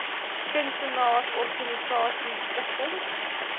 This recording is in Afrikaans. kunstenaars organisasies stigtings